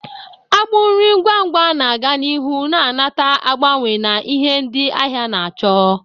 Agbụ nri ngwa ngwa na-aga n'ihu na-anata agbanwe na ihe ndị ahịa na-achọ,